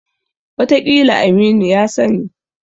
Wataƙila Aminu ya sani.